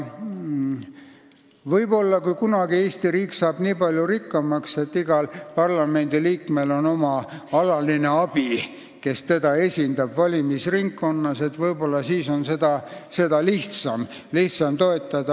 Võib-olla kunagi, kui Eesti riik saab nii palju rikkamaks, et igal parlamendiliikmel on alaline abi, kes teda valimisringkonnas esindab, on seda lihtsam teha.